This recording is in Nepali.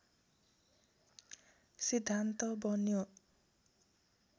सिद्धान्त बन्यो